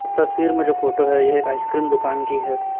इस तस्वीर में जो फोटो है यह एक आइसक्रीम दुकान की है।